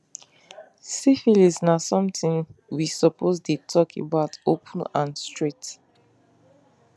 syphilis na something we suppose dey talk about open and straight